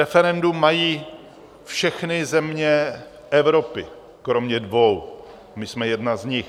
Referendum mají všechny země Evropy kromě dvou, my jsme jedna z nich.